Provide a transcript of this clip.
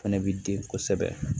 Fɛnɛ bi di kosɛbɛ